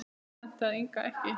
Það hentaði Inga ekki.